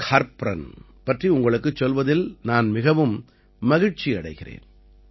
கார்ப்ரான் பற்றி உங்களுக்குச் சொல்வதில் நான் மிகவும் மகிழ்ச்சியடைகிறேன்